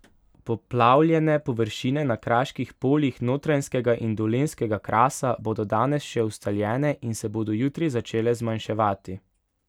Poplavljene površine na kraških poljih Notranjskega in Dolenjskega krasa bodo danes še ustaljene in se bodo jutri začele zmanjševati.